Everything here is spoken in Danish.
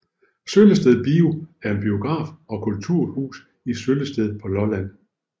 Søllested Bio er en biograf og kulturhus i Søllested på Lolland